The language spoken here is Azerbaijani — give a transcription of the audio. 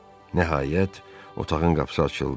Nəhayət, otağın qapısı açıldı.